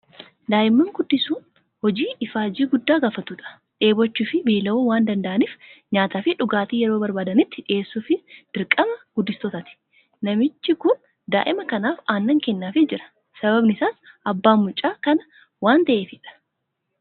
Daa'imman guddisuun hojii ifaajjii guddaa gaafatudha. Dheebochuu fi beela'uu waan danda'aniif nyaataa fi dhugaatii yeroo barbaadanitti dhiyeessuufiin dirqama guddistootaati. Namichi kun daa'ima kanaaf aannan kennaafii jira. Sababni isaas abbaa mucaa kanaa waan ta'eefidha.